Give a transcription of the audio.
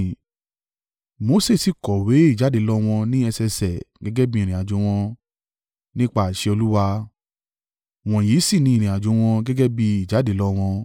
Mose sì kọ̀wé ìjáde lọ wọn ní ẹsẹẹsẹ gẹ́gẹ́ bí ìrìnàjò wọn, nípa àṣẹ Olúwa, wọ̀nyí sì ni ìrìnàjò wọn gẹ́gẹ́ bí ìjáde lọ wọn.